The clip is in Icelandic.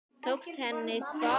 Tókst henni hvað?